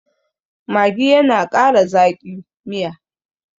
maggi yana Kara Zaki. Miya